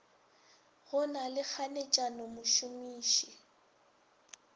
go na le kganetšano mošomiši